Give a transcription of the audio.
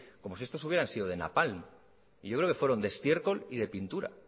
como si estos hubieran sido de napalm y yo creo que fueron de estiércol y de pintura